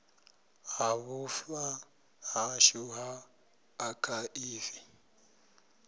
ha vhufa hashu ha akhaivi